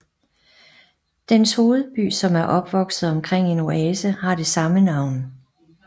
Dens hovedby som er opvokset omkring en oase har det samme navn